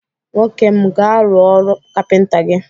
Nwokem m, gaa rụọ ọrụ kapịnta gi!